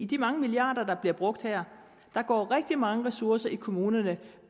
de mange milliarder der bliver brugt her går rigtig mange ressourcer i kommunerne